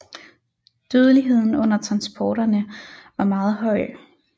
Dødeligheden under transporterne var meget høj